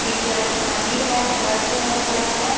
ये चर्च मंदिर है चर्च है क्या है?